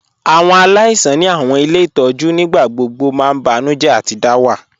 Awọn aláìsàn ni awọn ilẹ̀ itọju nígbàgbọ̀gbọ̀ mà n bànújẹ̀ àti dàwà.